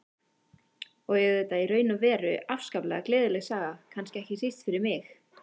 Og auðvitað í raun og veru afskaplega gleðileg saga, kannski ekki síst fyrir mig.